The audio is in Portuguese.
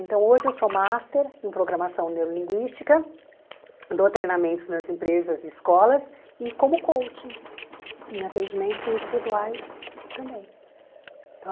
Então, hoje eu sou Master em Programação Neurolinguística, dou treinamentos nas empresas e escolas, e como coach em atendimentos individuais também.